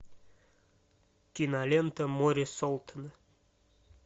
кинолента море солтона